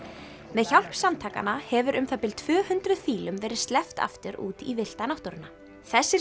með hjálp samtakanna hefur um það bil tvö hundruð fílum verið sleppt aftur út í villta náttúruna þessir